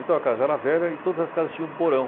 Então a casa era velha e todas as casas tinham porão.